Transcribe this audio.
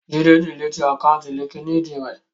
Jídé diliti àkáùntì líńki-inì rẹ̀